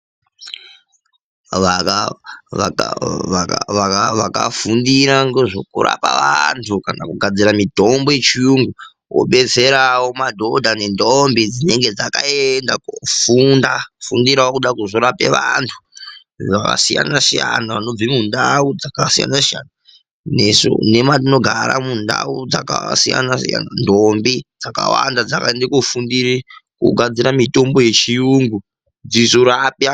Vakafundira ngezvekurapa vantu kana kugadzira mitombo yechiyungu vobatsirawo madhodha nentombi dzinenge dzakaenda kofunda kufundirawo kude kuzorape vantu zvakasiyana siyana vanobve mundau dzakasiyana siyana nesu nematinogara mundau dzakasiyana siyana ntombi dzakawanda dzakaende kofundire kugadzire mitombo yechiyungu dzizorape antu.